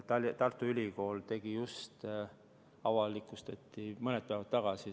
Tartu Ülikool tegi just selle uuringu, mis avalikustati mõni päev tagasi.